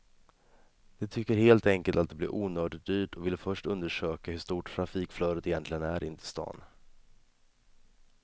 De tycker helt enkelt att det blir onödigt dyrt och vill först undersöka hur stort trafikflödet egentligen är in till stan.